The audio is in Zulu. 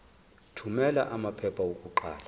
thumela amaphepha okuqala